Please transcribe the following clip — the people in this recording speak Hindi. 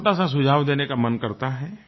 एक छोटा सा सुझाव देने का मन करता है